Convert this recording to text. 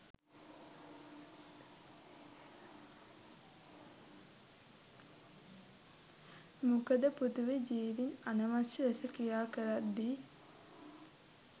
මොකද පෘථිවි ජීවීන් අනවශ්‍ය ලෙස ක්‍රියාකරද්දී